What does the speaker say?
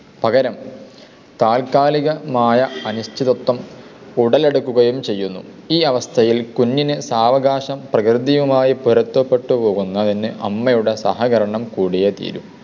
പകരം താത്കാലികമായ അനിശ്ചിതത്വം ഉടലെടുക്കുകയും ചെയ്യുന്നു. ഈ അവസ്ഥയിൽ കുഞ്ഞിന് സാവകാശം പ്രകൃതിയുമായി പൊരുത്തപ്പെട്ടു പോകുന്നതിനു അമ്മയുടെ സഹകരണം കൂടിയേ തീരു.